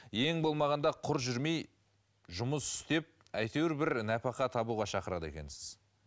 ең болмағанда құр жүрмей жұмыс істеп әйтеуір бір нәпақа табуға шақырады екенсіз